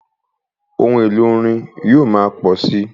Ohun èlò orin yóò máa pọ̀ síi.